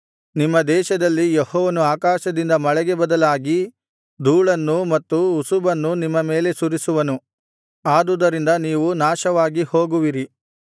ನಿಮ್ಮ ದೇಶದಲ್ಲಿ ಯೆಹೋವನು ಆಕಾಶದಿಂದ ಮಳೆಗೆ ಬದಲಾಗಿ ಧೂಳನ್ನೂ ಮತ್ತು ಉಸುಬನ್ನೂ ನಿಮ್ಮ ಮೇಲೆ ಸುರಿಸುವನು ಅದುದರಿಂದ ನೀವು ನಾಶವಾಗಿ ಹೋಗುವಿರಿ